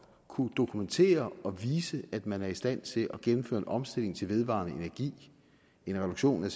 kunne dokumentere og vise at man er i stand til at gennemføre en omstilling til vedvarende energi en reduktion af